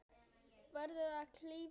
Verður að klífa hann.